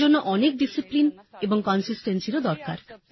এর জন্য অনেক ডিসিপ্লিন এবং consistencyএরও দরকার